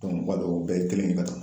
u b'a dɔn u bɛɛ ye kelen de ka kan